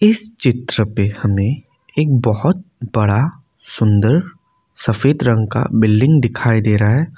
इस चित्र पे हमें एक बहुत बड़ा सुंदर सफेद रंग का बिल्डिंग दिखाई दे रहा है।